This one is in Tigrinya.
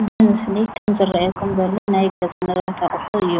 እዚ ምስሊ ከም ዝረእየኩም ዘሎ ናይ ገዛ ንብረት አቁሑ እዩ፡፡